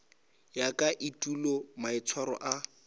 ya ka etulo maitshwaro a